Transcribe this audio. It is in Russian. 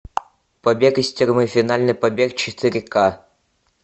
побег из тюрьмы финальный побег четыре ка